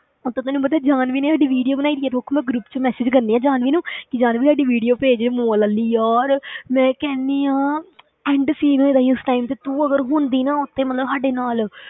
ਉੱਤੋਂ ਤੈਨੂੰ ਪਤਾ ਹੈ ਜਾਨਵੀ ਨੇ ਸਾਡੀ video ਬਣਾਈ ਹੈ, ਰੁੱਕ ਮੈਂ group ਵਿੱਚ message ਕਰਦੀ ਹਾਂ ਜਾਨਵੀ ਨੂੰ ਕਿ ਜਾਨਵੀ ਸਾਡੀ video ਭੇਜ mall ਵਾਲੀ, ਯਾਰ ਮੈਂ ਕਹਿਨੀ ਹਾਂ end scene ਹੋਇਆ ਸੀ ਉਸ time ਤੇ, ਤੂੰ ਅਗਰ ਹੁੰਦੀ ਨਾ ਉੱਥੇ ਮਤਲਬ ਸਾਡੇ ਨਾਲ,